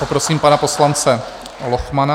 Poprosím pana poslance Lochmana.